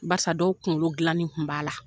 Barisa dɔw kungolo dilanin kun b'a la.